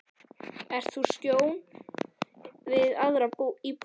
Ert þú á skjön við aðra íbúa?